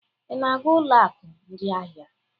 Ị na-aga ụlọ akụ ndị ahịa?